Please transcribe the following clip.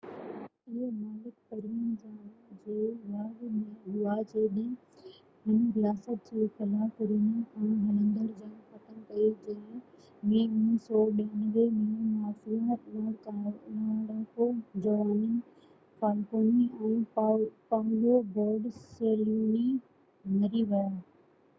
اهي مالڪ Provenzano جي واڳ ۾ هئا جڏهن هن رياست جي خلاف رينا کان هلندڙ جنگ ختم ڪئي جنهن ۾ 1992 ۾ مافيا لڙاڪو جُواني فالڪوني ۽ پائولو بورسيلينو مري ويا